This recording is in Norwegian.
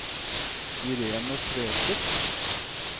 Irene Tveter